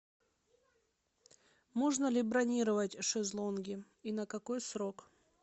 можно ли бронировать шезлонги и на какой срок